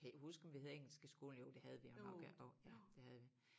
Kan ikke huske om vi havde engelsk i skolen jo det havde vi jo nok ja jo det havde vi